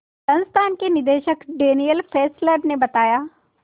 संस्थान के निदेशक डैनियल फेस्लर ने बताया